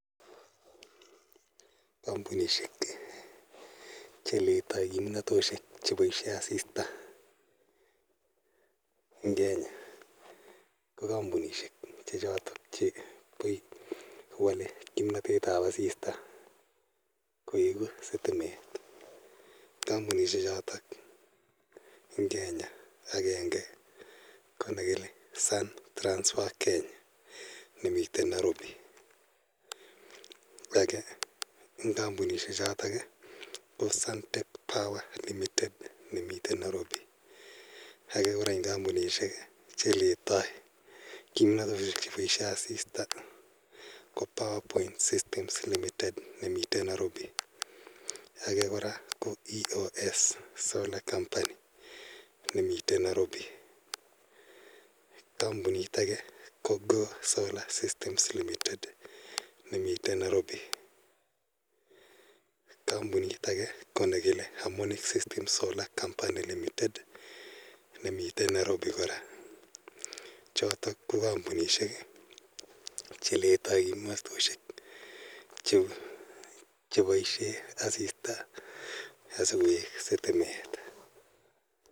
Kampunishek che letai kimnatoshek che paishe asista en Kenya ko kampunishek che chotok che wale kimanatet ap asista koeku sitimet. Kampunishechotok eng' Kenya agenge ko ne kile Sun Transfer Kenya ne mitei Nairobi. Age eng' kampunishechotok ko Suntech Power Limited ne mitei Nairobi. Age kora eng' kampunishek che letai kimanatoshek che paishe asista ko PowerPoint Systems Limited ne mitei Nairobi. Age kora ko EOS solar company ne mitei Nairobi. Kampunit age ko Solar Systems Limited ne mitei Nairobi. Age kora ko Hamornic System Company Limited ne mitei Nairobi kora. Chotok ko kampunishek che letai kimnatoshek che paishe asista asikoek sitimet.